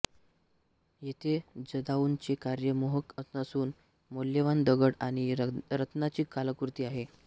येथे जदाऊंचे कार्य मोहक नसून मौल्यवान दगड आणि रत्नांची कलाकृती आहे